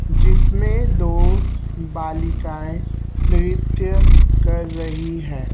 जिसमें दो बालिकाएं नृत्य कर रही है।